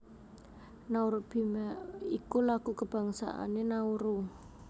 Nauru Bwiema iku lagu kabangsané Nauru